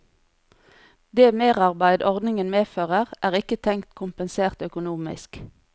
Det merarbeid ordningen medfører, er ikke tenkt kompensert økonomisk.